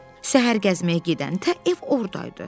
Səhər gəzməyə gedəndə ev ordaydı.